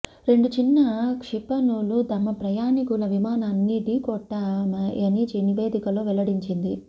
రెండు చిన్న క్షిపణులు తమ ప్రయాణికుల విమానాన్ని ఢీకొట్టాయని నివేదికలో వెల్లడించింది